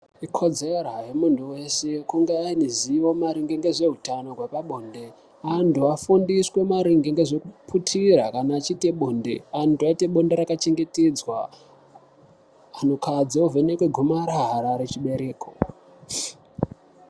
Ikodzero yemuntu weshe kunge ane zivo maringe ngezveutano repabonde, antu afundiswe maringe ngezvekuputira kana achiita bonde antu aiite bonde rakachengeyedzwa. Antukadzi ovhenekwa gomarara rechibereko.